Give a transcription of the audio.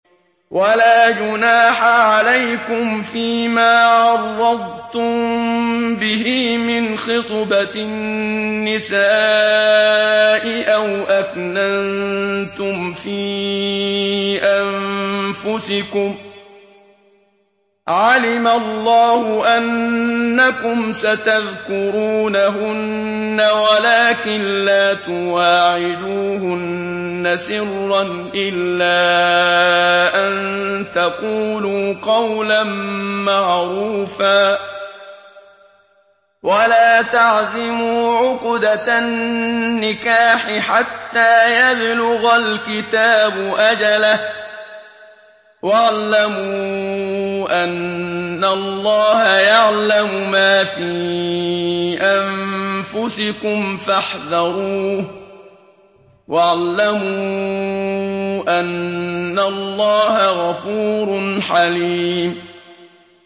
وَلَا جُنَاحَ عَلَيْكُمْ فِيمَا عَرَّضْتُم بِهِ مِنْ خِطْبَةِ النِّسَاءِ أَوْ أَكْنَنتُمْ فِي أَنفُسِكُمْ ۚ عَلِمَ اللَّهُ أَنَّكُمْ سَتَذْكُرُونَهُنَّ وَلَٰكِن لَّا تُوَاعِدُوهُنَّ سِرًّا إِلَّا أَن تَقُولُوا قَوْلًا مَّعْرُوفًا ۚ وَلَا تَعْزِمُوا عُقْدَةَ النِّكَاحِ حَتَّىٰ يَبْلُغَ الْكِتَابُ أَجَلَهُ ۚ وَاعْلَمُوا أَنَّ اللَّهَ يَعْلَمُ مَا فِي أَنفُسِكُمْ فَاحْذَرُوهُ ۚ وَاعْلَمُوا أَنَّ اللَّهَ غَفُورٌ حَلِيمٌ